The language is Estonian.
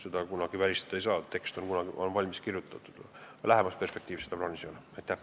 Seda kunagi välistada ei saa, tekst on valmis kirjutatud, aga lähemas perspektiivis seda plaanis ei ole.